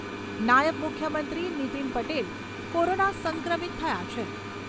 નાયબ મુખ્યમંત્રી નિતિન પટેલ કોરોના સંક્રમિત થયા છે.